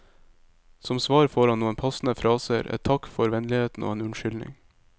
Som svar får han noen passende fraser, et takk for vennligheten og en unnskyldning.